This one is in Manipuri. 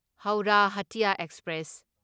ꯍꯧꯔꯥ ꯍꯇꯤꯌꯥ ꯑꯦꯛꯁꯄ꯭ꯔꯦꯁ